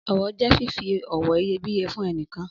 Ọ̀wọ̀ jẹ fífi ọ̀wọ̀ iyebíye fún ẹnìkan.